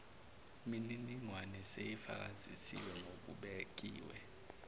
miningwane seyifakazisiwe ngokubekiwe